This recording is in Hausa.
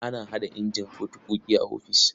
Ana haɗa injin fotokofi a ofis.